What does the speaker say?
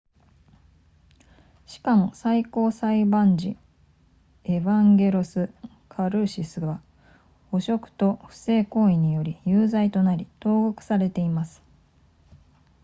しかも最高裁判事エヴァンゲロスカルーシスは汚職と不正行為により有罪となり投獄されています